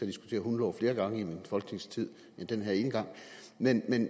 diskutere hundelov flere gange i min folketingstid end den her ene gang men